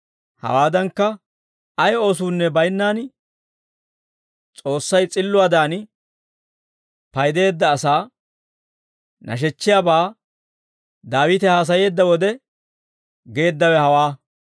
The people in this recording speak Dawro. Hawaadankka, ay oosuunne baynnaan, S'oossay s'illuwaadan paydeedda asaa nashechchiyaabaa Daawite haasayeedda wode geeddawe hawaa.